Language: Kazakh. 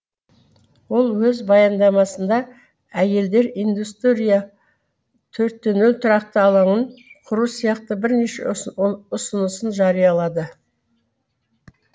ол өз баяндамасында әйелдер индустрия төртте нөл тұрақты алаңын құру сияқты бірнеше ұсынысын жариялады